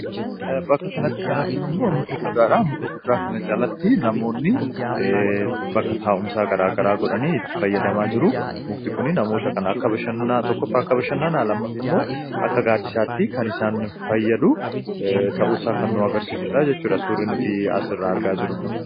Bakka kanatti kan arginummoo muka guddaadha. Muka guddaa kana jalatti namoonni bakka taa'umsaa garaagaraa godhanii fayyadamaa jiru. Mukti kun namoota kana akka bashannanaa akkasuma immoo akka gaaddisaatti kan isaan fayyadu ta'uusaa kan nu agarsiisudha jechuudha suurri kun.